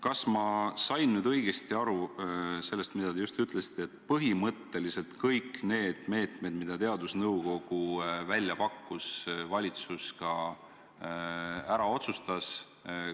Kas ma sain nüüd õigesti aru sellest, mida te just ütlesite: et põhimõtteliselt kõik need meetmed, mis teadusnõukogu välja pakkus, valitsus ka ära otsustas?